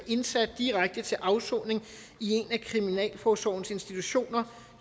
indsat direkte til afsoning i en af kriminalforsorgens institutioner